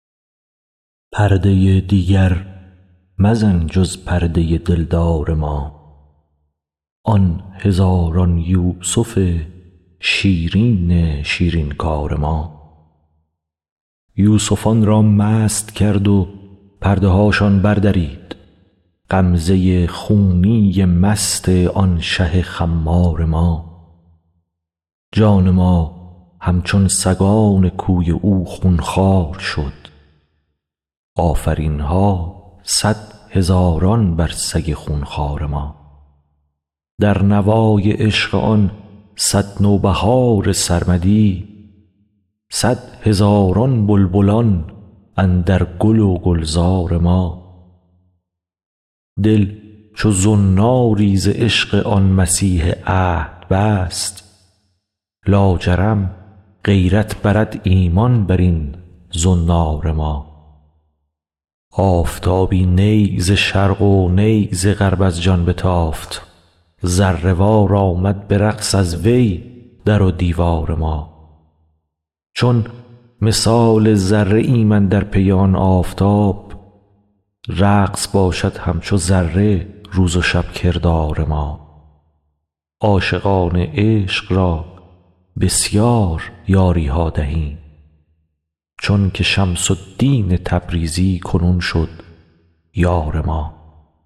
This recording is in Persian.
پرده ی دیگر مزن جز پرده ی دلدار ما آن هزاران یوسف شیرین شیرین کار ما یوسفان را مست کرد و پرده هاشان بردرید غمزه ی خونی مست آن شه خمار ما جان ما همچون سگان کوی او خون خوار شد آفرین ها صد هزاران بر سگ خون خوار ما در نوای عشق آن صد نوبهار سرمدی صد هزاران بلبلان اندر گل و گلزار ما دل چو زناری ز عشق آن مسیح عهد بست لاجرم غیرت برد ایمان بر این زنار ما آفتابی نی ز شرق و نی ز غرب از جان بتافت ذره وار آمد به رقص از وی در و دیوار ما چون مثال ذره ایم اندر پی آن آفتاب رقص باشد همچو ذره روز و شب کردار ما عاشقان عشق را بسیار یاری ها دهیم چونک شمس الدین تبریزی کنون شد یار ما